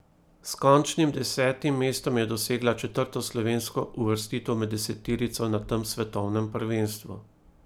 S končnim desetim mestom je dosegla četrto slovensko uvrstitev med deseterico na tem svetovnem prvenstvu.